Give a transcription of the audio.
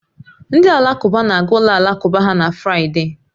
Ndị Alakụba na-aga ụlọ alakụba ha na Fraịde